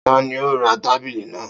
Ta ni ó ra tábìlì náà?